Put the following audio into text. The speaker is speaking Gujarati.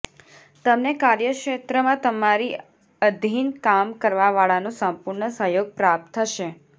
તમને કાર્યક્ષેત્રમાં તમારી અધીન કામ કરવા વાળાનો સંપૂર્ણ સહયોગ પ્રાપ્ત થશે